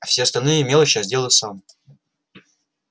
а все остальные мелочи я сделаю сам